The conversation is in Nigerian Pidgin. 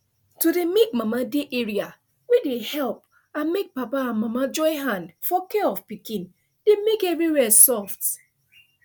to dey make mama dey area wey dey help and make papa and mama join hand for care of pikin dey make everywhere soft